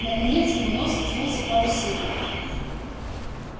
наконец его нос коснулся парусины